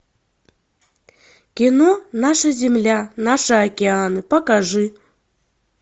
кино наша земля наши океаны покажи